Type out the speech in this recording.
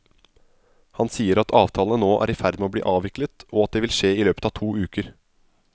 Han sier at avtalene nå er i ferd med å bli avviklet, og at det vil skje i løpet av to uker.